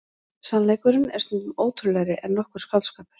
Sannleikurinn er stundum ótrúlegri en nokkur skáldskapur.